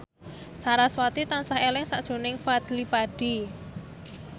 sarasvati tansah eling sakjroning Fadly Padi